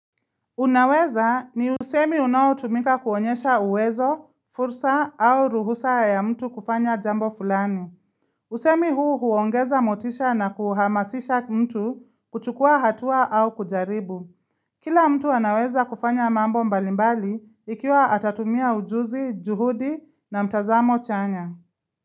Unaweza ni usemi unao tumika kuonyesha uwezo, fursa au ruhusa ya mtu kufanya jambo fulani. Usemi huu huongeza motisha na kuhamasisha mtu kuchukua hatua au kujaribu. Kila mtu anaweza kufanya mambo mbalimbali ikiwa atatumia ujuzi, juhudi na mtazamo chanya.